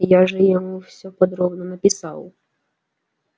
я же ему все подробно написал